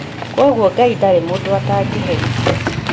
Kwoguo Ngai ndarĩ mũndũ atangĩherithia